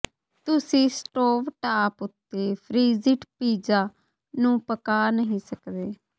ਤੁਸੀਂ stove top ਉੱਤੇ frozen pizza ਨੂੰ ਪਕਾ ਨਹੀਂ ਸਕਦੇ